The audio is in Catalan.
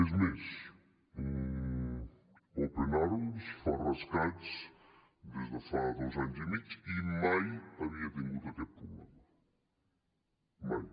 és més open arms fa rescats des de fa dos anys i mig i mai havia tingut aquest problema mai